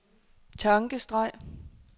tankestreg